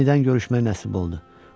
Yenidən görüşmək nəsib oldu.